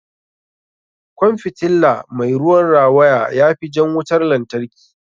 Kwan fitilla mai ruwan rawaya ya fi jan wutar lantarki.